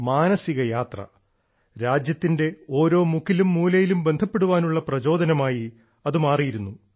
മാനസിക യാത്ര രാജ്യത്തിന്റെ ഓരോ മുക്കിലും മൂലയിലും ബന്ധപ്പെടാനുള്ള പ്രചോദനമായി അത് മാറിയിരുന്നു